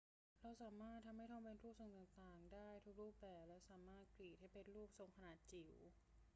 เราสามารถทำให้ทองเป็นรูปทรงต่าง ๆ ได้ทุกรูปแบบ และสามารถรีดให้เป็นรูปทรงขนาดจิ๋ว